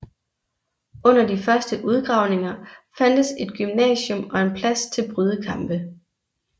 Under de første udgravninger fandtes et gymnasium og en plads til brydekampe